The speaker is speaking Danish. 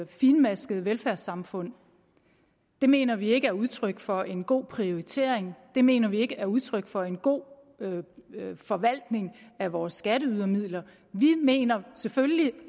fintmaskede velfærdssamfund det mener vi ikke er udtryk for en god prioritering det mener vi ikke er udtryk for en god forvaltning af vores skatteydermidler vi mener selvfølgelig